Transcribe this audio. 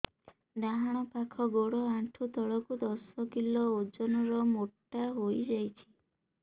ଡାହାଣ ପାଖ ଗୋଡ଼ ଆଣ୍ଠୁ ତଳକୁ ଦଶ କିଲ ଓଜନ ର ମୋଟା ହେଇଯାଇଛି